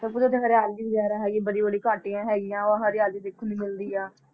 ਹਰਿਆਲੀ ਵਗ਼ੈਰਾ ਹੈਗੀ ਬੜੀ ਬੜੀ ਘਾਟੀਆਂ ਹੈਗੀਆਂ ਵਾ ਹਰਿਆਲੀ ਦੇਖਣ ਨੂੰ ਮਿਲਦੀ ਹੈ।